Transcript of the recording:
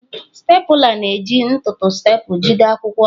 Stapụla na-eji ntụtụ staple jide akwụkwọ ọnụ.